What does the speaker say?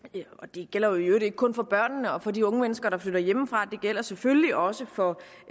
det gælder i øvrigt ikke kun for børnene og for de unge mennesker der flytter hjemmefra det gælder selvfølgelig også for